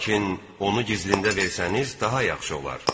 Lakin onu gizlində versəniz daha yaxşı olar.